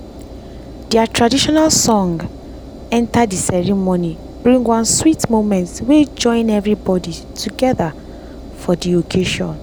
their traditional song enter dey ceremony bring one sweet moment wey join everybody together for dey occasion